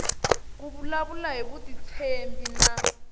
ku vulavula hi vutitshembi na